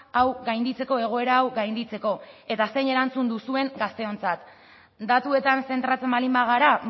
hau gainditzeko egoera hau gainditzeko eta zein erantzun duzuen gazteontzat datuetan zentratzen baldin bagara